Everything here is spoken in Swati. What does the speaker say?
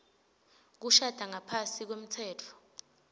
kushada ngaphasi kwemtsetfo